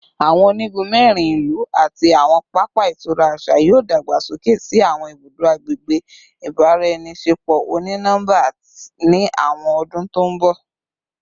Awọn onigun mẹrin ilu ati awọn papa itura aṣa yoo dagbasoke si awọn ibudo agbegbe ibaraenisepo oni nọmba ni awọn ọdun to nbọ